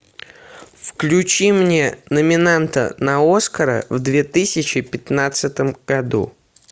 включи мне номинанта на оскара в две тысячи пятнадцатом году